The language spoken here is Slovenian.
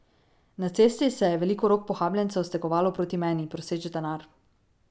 Na cesti se je veliko rok pohabljencev stegovalo proti meni, proseč denar.